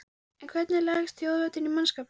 En hvernig leggst þjóðhátíðin í mannskapinn?